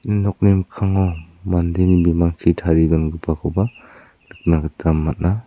im nokni mikkango mandeni bimangchi tarie dongipakoba nikna gita man·a.